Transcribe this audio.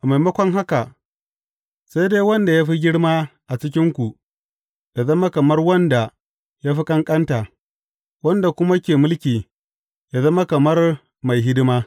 A maimakon haka, sai dai wanda ya fi girma a cikinku, ya zama kamar wanda ya fi ƙanƙanta, wanda kuma ke mulki, ya zama kamar mai hidima.